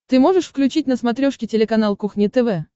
ты можешь включить на смотрешке телеканал кухня тв